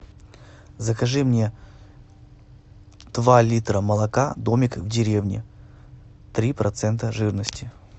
закажи мне два литра молока домик в деревне три процента жирности